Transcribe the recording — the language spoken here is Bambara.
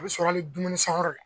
I bi sɔrɔ ni dumuni san yɔrɔ ye